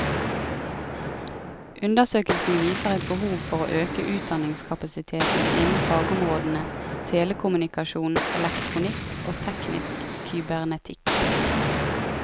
Undersøkelsen viser et behov for å øke utdanningskapasiteten innen fagområdene telekommunikasjon, elektronikk og teknisk kybernetikk.